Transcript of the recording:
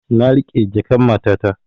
Na riƙe jakan matata